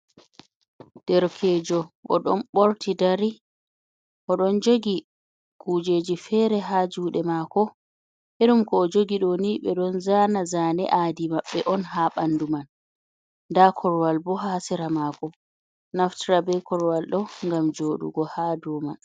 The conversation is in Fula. Derkejo o ɗon ɓorti dari, o ɗon jogi kujeji fere ha jude mako e ɗum ko o jogi ɗoni be don zana zane adi maɓɓe on ha bandu man, nda korwal bo ha sera mako naftira be korwal ɗo ngam joɗugo ha Dow man.